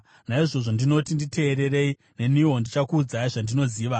“Naizvozvo ndinoti: Nditeererei; neniwo ndichakuudzai zvandinoziva.